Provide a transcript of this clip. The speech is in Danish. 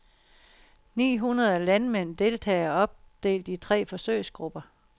Ni hundrede landmænd deltager, opdelt i tre forsøgsgrupper.